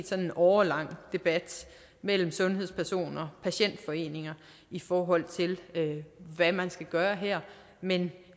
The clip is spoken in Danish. sådan en årelang debat mellem sundhedspersoner og patientforeninger i forhold til hvad man skal gøre her men